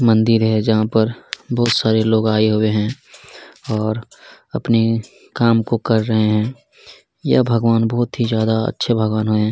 मंदिर है जहाँ पर बहुत सारे लोग आए हुए है और अपनी काम को कर रहे है यह भगवान बहुत ही ज्यादा अच्छे भगवान है।